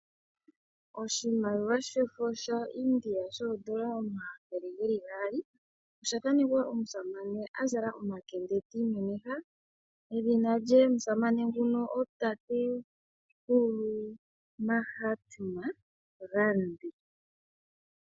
Oshimaliwa shefo shaIndia shoodola omathele ge li gaali osha thanekwa omusamane a zala omakende ti imemeha edhina lyomusamane nguno otatekulu Mahatma Gandhi.